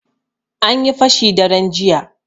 Anyi fashi daren jiya.